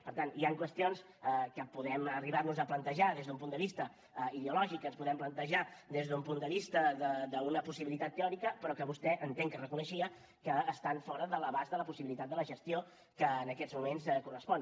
per tant hi han qüestions que podem arribar nos a plantejar des d’un punt de vista ideològic que ens podem plantejar des d’un punt de vista d’una possibilitat teòrica però que vostè entenc que reconeixia que estan fora de l’abast de la possibilitat de la gestió que en aquests moments correspon